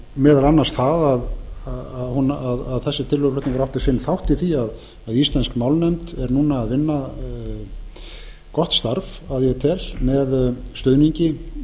meðal annars það að þessi tillöguflutningur átti sinn þátt í því að íslensk málnefnd er núna að vinna gott starf að ég tel með stuðningi